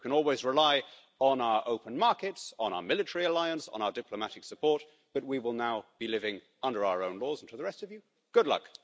You can always rely on our open markets, on our military alliance, on our diplomatic support, but we will now be living under our own laws and for the rest of you, good luck.